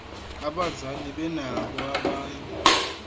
abazali benabo abanye